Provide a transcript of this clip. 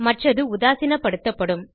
மற்றது உதாசீனப்படுத்தப்படும்